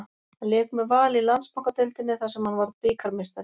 Hann lék með Val í Landsbankadeildinni þar sem hann varð bikarmeistari.